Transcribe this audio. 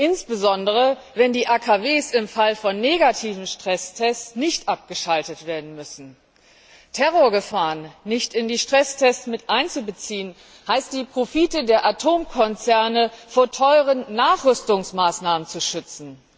insbesondere wenn die AKW im Falle von negativen Stresstests nicht abgeschaltet werden müssen. Terrorgefahren nicht in die Stresstests mit einzubeziehen, heißt, die Profite der Atomkonzerne vor teueren Nachrüstungsmaßnahmen zu schützen.